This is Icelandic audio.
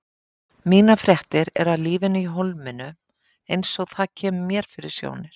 Mínar fréttir eru af lífinu í Hólminum eins og það kemur mér fyrir sjónir.